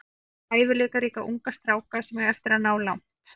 Við höfum hæfileikaríka unga stráka sem eiga eftir að ná langt.